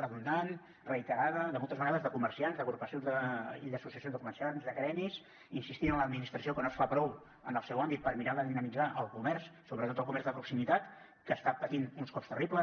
redundant reiterada de moltes vegades de comerciants d’agrupacions i d’associacions de comerciants de gremis insistint en l’administració que no es fa prou en el seu àmbit per mirar de dinamitzar el comerç sobretot el comerç de proximitat que està patint uns cops terribles